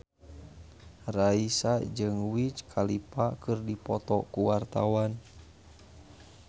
Raisa jeung Wiz Khalifa keur dipoto ku wartawan